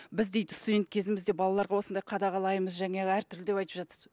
біз дейді студент кезімізде балаларға осындай қадағалаймыз жаңағы әртүрлі айтып жатырсыз